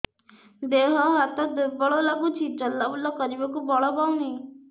ଦେହ ହାତ ଦୁର୍ବଳ ଲାଗୁଛି ଚଲାବୁଲା କରିବାକୁ ବଳ ପାଉନି